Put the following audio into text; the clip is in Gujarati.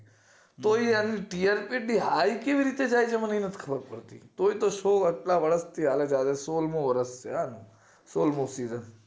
તો એની આટલી હાઈ જાય કેવી રીતે જાય છે એ મને નથ ખબર પડતી તોય તે show એટલા વર્ષ થી હાલે છે સોળમું વર્ષ છે હેને સોળમું season